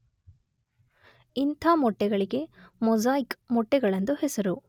ಇಂಥ ಮೊಟ್ಟೆಗಳಿಗೆ ಮೊಸಾಯಿಕ್ ಮೊಟ್ಟೆಗಳೆಂದು ಹೆಸರು.